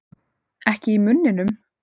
Ekki í munninum.